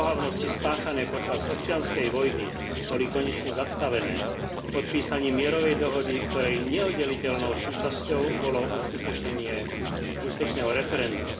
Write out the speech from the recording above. Ohavnosti spáchané počas občianskej vojny boli konečne zastavené podpísaním mierovej dohody, ktorej neoddeliteľnou súčasťou bolo uskutočnenie úspešného referenda.